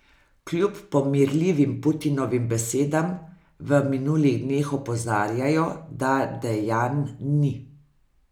Kljub pomirljivim Putinovim besedam v minulih dneh opozarjajo, da dejanj ni.